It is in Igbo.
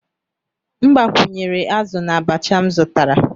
M gbakwunyere azụ na abacha m zụtara.